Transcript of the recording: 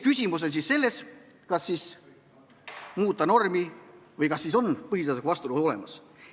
Küsimus on selles, kas muuta normi või kas on olemas vastuolu põhiseadusega.